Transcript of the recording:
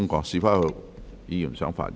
是否有議員想發言？